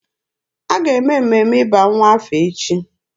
A ga-eme mmemme ịba nwa aha echi.